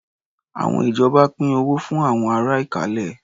Àwọn ìjọba pín owó fún àwọn ará Ìkálẹ̀.